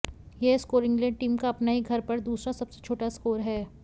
यह score England team का अपने ही घर पर दूसरा सबसे छोटा स्कोर है